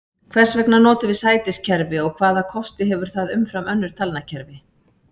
Hvers vegna notum við sætiskerfi og hvaða kosti hefur það umfram önnur talnakerfi?